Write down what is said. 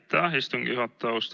Aitäh, istungi juhataja!